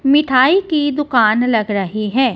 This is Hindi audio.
मिठाई की दुकान लग रही है।